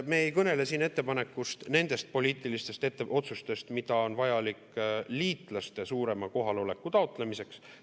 Me ei kõnele siin ettepanekust, nendest poliitilistest otsustest, mis on vajalikud liitlaste suurema kohaloleku taotlemiseks.